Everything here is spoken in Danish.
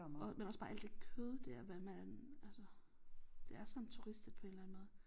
Og men også bare alt det kød der hvad man altså det er sådan turistet på en eller anden måde